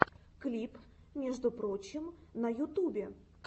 клип между прочим на ютубе